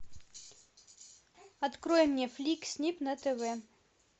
открой мне флик снип на тв